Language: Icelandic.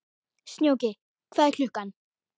Snjóki, hvað er klukkan?